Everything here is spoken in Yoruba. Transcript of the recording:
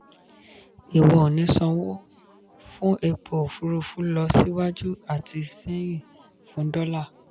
ìwọ ò ní sanwó fún epo òfurufú lọ síwájú àti sẹ́yìn fún dọ́là.